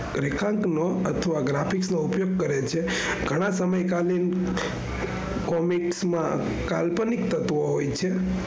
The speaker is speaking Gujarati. graphics નો ઉપયોગ કરે છે ગણા સમયે comic માં કાલ્પનિક તત્વો હોય છે.